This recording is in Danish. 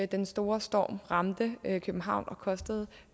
den store storm ramte københavn og kostede